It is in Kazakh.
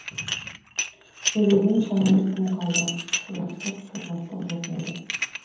сөйлеуден шамамыз тым қалды силастық сырластық жоқ мүлде